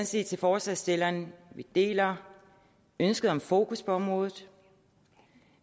sige til forslagsstillerne at vi deler ønsket om fokus på området